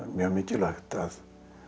mjög mikilvægt að